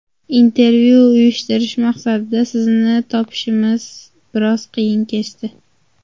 Intervyu uyushtirish maqsadida sizni topishimiz biroz qiyin kechdi.